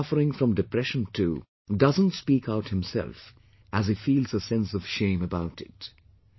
The person suffering from depression too doesn't speak out himself as he feels a sense of shame about it